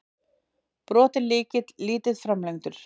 Brotinn lykill, lítið framlengdur.